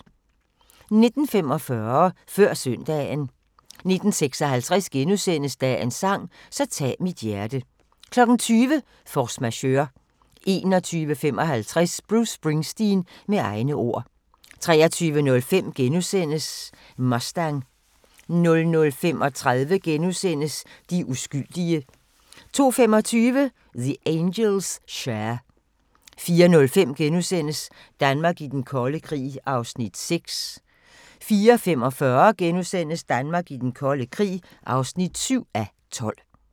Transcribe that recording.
19:45: Før søndagen 19:56: Dagens sang: Så tag mit hjerte * 20:00: Force Majeure 21:55: Bruce Springsteen – med egne ord 23:05: Mustang * 00:35: De uskyldige * 02:25: The Angels' Share 04:05: Danmark i den kolde krig (6:12)* 04:45: Danmark i den kolde krig (7:12)*